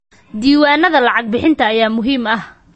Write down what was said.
Diiwaanada lacag-bixinta ayaa muhiim ah.